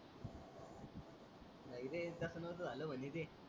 नाहीरे तस नस झाल म्हणी ते.